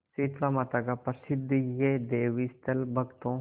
शीतलामाता का प्रसिद्ध यह देवस्थल भक्तों